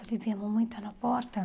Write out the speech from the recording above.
a mamãe está na porta?